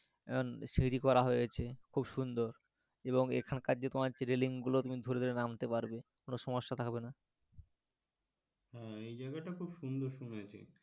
এখন সিঁড়ি করা হয়েছে খুব সুন্দর এবং এখানকার যে তোমার রেলিং গুলো তুমি ধরে ধরে নামতে পারবে কোনও সমস্যা থাকবে না হ্যাঁ এই জায়গা টা খুব সুন্দর শুনেছি,